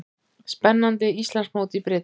Spennandi Íslandsmót í brids